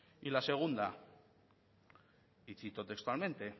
y la segunda y cito textualmente